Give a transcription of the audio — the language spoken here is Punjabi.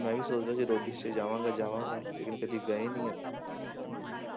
ਮੈਂ ਵੀ ਸੋਚਦਾ ਸੀ ਰੋਡੀਜ 'ਚ ਜਾਵਾਂਗਾ ਜਾਵਾਂਗਾ ਲੇਕਿੰਨ ਕਦੇ ਗਏ ਨੀ ਆਪਾਂ ਹਮ